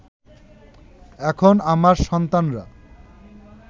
এখন আমার সন্তানরা